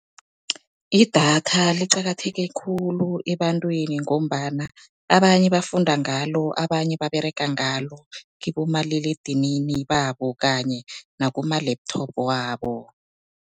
Idatha liqakatheke khulu ebantwini, ngombana abanye bafunda ngalo, abanye baberega ngalo kibomaliledinini babo kanye nakuma-laptop wabo.